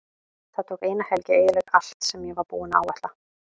Það tók eina helgi að eyðileggja allt sem ég var búinn að áætla.